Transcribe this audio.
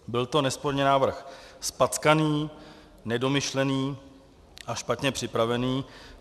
Byl to nesporně návrh zpackaný, nedomyšlený a špatně připravený.